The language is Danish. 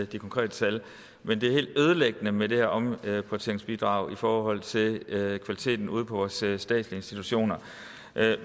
de konkrete tal men det er helt ødelæggende med det her omprioriteringsbidrag i forhold til kvaliteten ude på vores statslige institutioner